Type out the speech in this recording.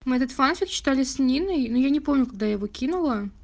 мы этот фанфик читали с ниной но я не помню когда я его кинула